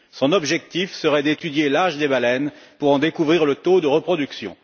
Son objectif serait d'étudier l'âge des baleines pour en découvrir le taux de reproduction.